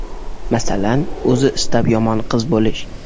Masalan, o‘zi istab yomon qiz bo‘lish.